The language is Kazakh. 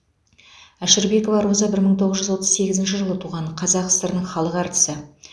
әшірбекова роза бір мың тоғыз жүз отыз сегізінші жылы туған қазақ сср інің халық әртісі